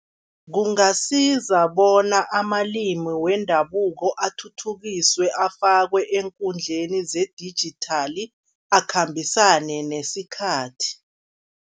Kungasiza bona amalimi wendabuko athuthukiswe, afakwe eenkundleni zedijithali akhambisane nesikhathi.